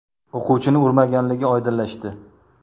o‘quvchini urmaganligi oydinlashdi.